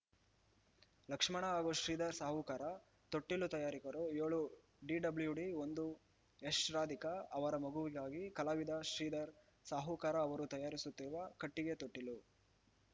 ಲಕ್ಷ್ಮಣ ಹಾಗೂ ಶ್ರೀಧರ ಸಾವುಕಾರ ತೊಟ್ಟಿಲು ತಯಾರಕರು ಏಳು ಡಿಡಬ್ಲೂಡಿ ಒಂದು ಯಶ್‌ರಾಧಿಕಾ ಅವರ ಮಗುವಿಗಾಗಿ ಕಲಾವಿದ ಶ್ರೀಧರ ಸಾವುಕಾರ ಅವರು ತಯಾರಿಸುತ್ತಿರುವ ಕಟ್ಟಿಗೆ ತೊಟ್ಟಿಲು